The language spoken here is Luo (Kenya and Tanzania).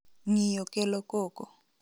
Ng'iyo kelo koko.